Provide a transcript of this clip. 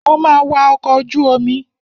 Mo ma wa ọkọ̀ ojú omi.